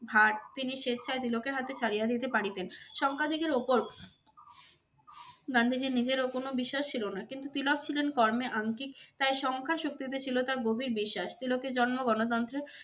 ভাড় তিনি স্বেচ্ছায় তিলকের হাতে ছাড়িয়া দিতে পারিতেন সংখ্যা দিগের ওপর গান্ধীজীর নিজেরও কোন বিশ্বাস ছিল না কিন্তু তিলক ছিলেন কর্মে আঙ্কিক তাই সংখ্যা শক্তিতে ছিল তার গভীর বিশ্বাস। তিলকের জন্ম গণতন্ত্রে